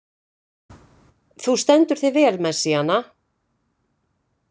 Þú stendur þig vel, Messíana!